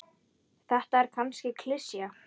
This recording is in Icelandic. Þetta er kannski klisja.